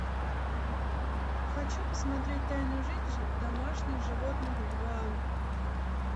хочу посмотреть тайную жизнь домашних животных два